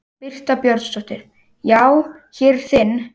Birta Björnsdóttir: Já, hér er þinn?